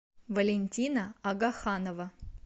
валентина агаханова